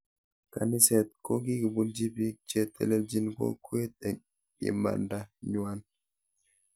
Kaniset kokikobunji biik che telelcnin kokwet eng imanda nywan